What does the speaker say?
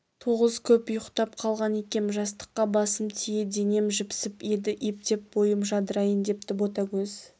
тоғыз көп ұйқтап қалған екем жастыққа басым тие денем жіпсіп еді ептеп бойым жадырайын депті ботагөз